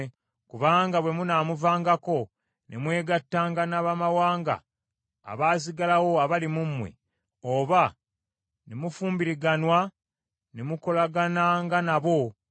kubanga bwe munaamuvaangako ne mwegattanga n’abamawanga abaasigalawo abali mu mmwe, oba ne mufumbiriganwa ne mukolagananga nabo,